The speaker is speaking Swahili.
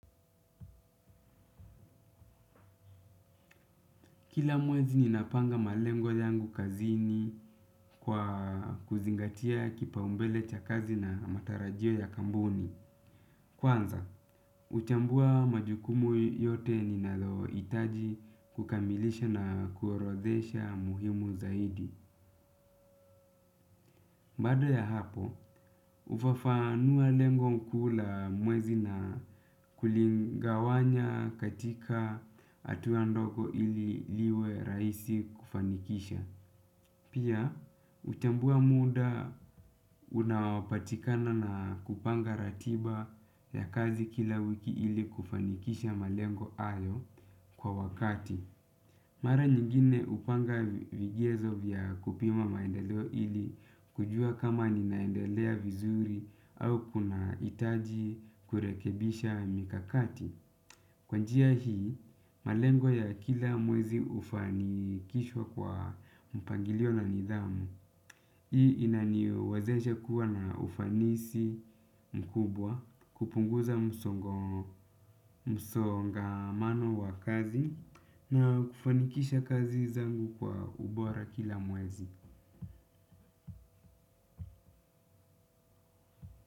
Kila mwezi ninapanga malengo yangu kazini kwa kuzingatia kipaumbele cha kazi na matarajio ya kampuni. Kwanza, huchambua majukumu yote ninalo hitaji kukamilisha na kuorodhesha muhimu zaidi. Baada ya hapo, hufafanua lengo kuu la mwezi na kuligawanya katika hatua ndogo ili liwe rahisi kufanikisha. Pia, hutambua muda unaopatikana na kupanga ratiba ya kazi kila wiki ili kufanikisha malengo hayo kwa wakati. Mara nyingine hupanga vigezo vya kupima maendeleo ili kujua kama ninaendelea vizuri au kuna hitaji kurekebisha mikakati. Kwa njia hii, malengo ya kila mwezi hufanikishwa kwa mpangilio na nidhamu. Hii inaniwezesha kuwa na ufanisi mkubwa kupunguza msongamano wa kazi na kufanikisha kazi zangu kwa ubora kila mwezi.